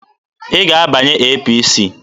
Ị ga-abanye APC!